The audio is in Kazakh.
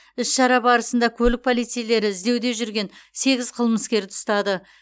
іс шара барысында көлік полицейлері іздеуде жүрген сегіз қылмыскерді ұстады